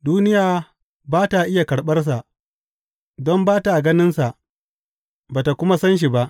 Duniya ba ta iya karɓarsa, don ba ta ganinsa ba ta kuma san shi ba.